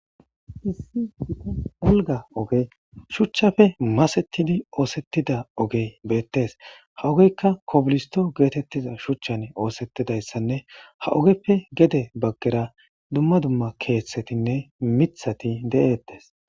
issii wulga oge shuchchafe masettidi oosettida ogey beettes ha ogeykka kobulisto geetettiza shuchchan oosettidayssanne ha ogeppe gede baggera dumma dumma keeththetinne mithati de7eettes